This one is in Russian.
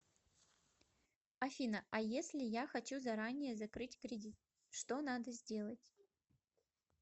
афина а если я хочу заранее закрыть кредит что надо сделать